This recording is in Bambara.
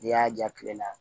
N'i y'a ja kile la